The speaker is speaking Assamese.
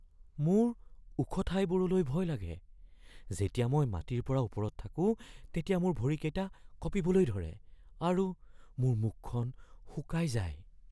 মোৰ ওখ ঠাইবোৰলৈ ভয় লাগে। যেতিয়া মই মাটিৰ পৰা ওপৰত থাকোঁ তেতিয়া মোৰ ভৰিকেইটা কঁপিবলৈ ধৰে আৰু মোৰ মুখখন শুকাই যায়।